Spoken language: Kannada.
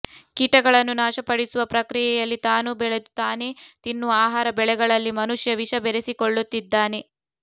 ಕೀಟಗಳನ್ನು ನಾಶಪಡಿಸುವ ಪ್ರಕ್ರಿಯೆಯಲ್ಲಿ ತಾನು ಬೆಳೆದು ತಾನೇ ತಿನ್ನುವ ಆಹಾರ ಬೆಳೆಗಳಲ್ಲಿ ಮನುಷ್ಯ ವಿಷ ಬೆರೆಸಿಕೊಳ್ಳುತ್ತಿದ್ದಾನೆ